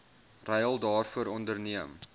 ruil daarvoor onderneem